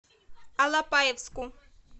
алапаевску